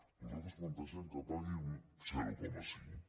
nosaltres plantegem que pagui un zero coma cinc